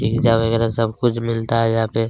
pizza वगेरा सब कुछ मिलता है यहाँ पे--